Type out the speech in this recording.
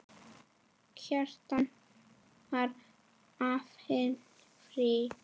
Kjartan: Fær áhöfnin frí?